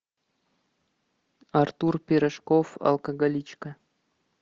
артур пирожков алкоголичка